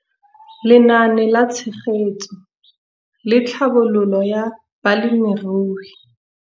Lenaane la Tshegetso le Tlhabololo ya Balemirui.